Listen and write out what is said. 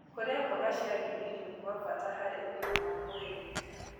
Kũrĩa mmboga cia ngirini nĩ gwa bata harĩ ũgima